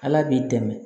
Ala b'i dɛmɛ